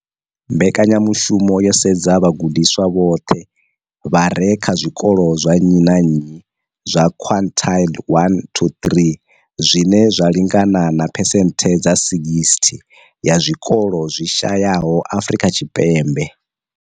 Mbekanyamushumo yo sedza vhagudiswa vhoṱhe vha re kha zwikolo zwa nnyi na nnyi zwa quintile 1-3, zwine zwa lingana na phesenthe dza 60 ya zwikolo zwi shayesaho Afrika Tshipembe.